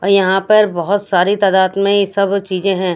और यहाँ पर बहुत सारी तादाद में ये सब चीजें हैं --